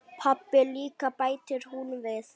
Pabbi líka, bætir hún við.